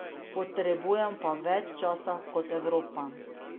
Potrebujemo pa več časa kot Evropa.